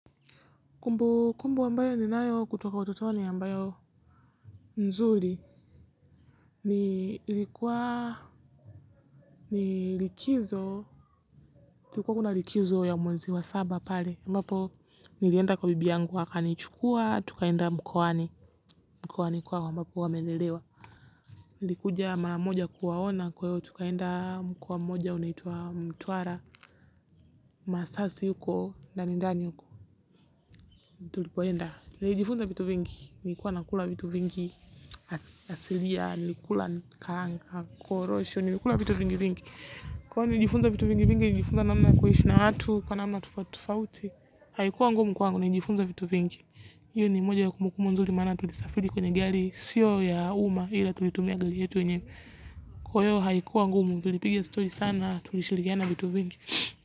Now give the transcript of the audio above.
Kumbukumbu ambayo ninayo kutoka utotoni ambayo mzuri ni kulikuwa kuna likizo ya mwezi wa saba pale ambapo nilienda kwa bibi yangu wakanichukua tukaenda mkoani, mkoani kwao ambapo wamelelewa. Nilikuja maramoja kuwaona kwa hiyo tukaenda mkoa moja unaitwa Mtwara, Masasi huko ndani ndani huko tulipoenda. Nijifunza vitu vingi nilikuwa nakula vitu vingi asilia, nilikula karanga, korosho, nilikula vitu vingi vingi. Kwa hivyo nijifunza vitu vingi vingi, nilijifunza namna kuishi na watu, kwa namna tofautitofauti. Haikuwa ngumu kwa nijifunza vitu vingi. Hii ni moja ya kumbukumbu nzuri manake tulisafiri kwa gari sio ya umma, ila tulitumia gari yetu wenyewe. Kwa hiyo haikuwa ngumu. Tulipiga stori sana, tulishirikiana vitu vingi.